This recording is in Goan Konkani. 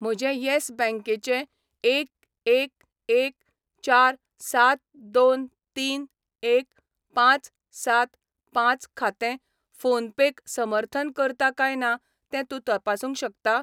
म्हजें यॅस बँक चें एक एक एक चार सात दोन तीन एक पांच सात पांच खातें फोनपे क समर्थन करता काय ना तें तूं तपासूंक शकता?